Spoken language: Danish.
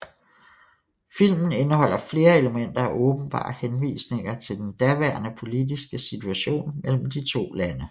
Filmen indeholder flere elementer af åbenbare henvisninger til den daværende politiske situation mellem de to lande